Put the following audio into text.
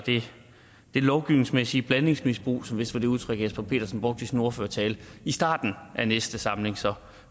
det lovgivningsmæssige blandingsmisbrug som vist var det udtryk jesper petersen brugte i sin ordførertale i starten af næste samling så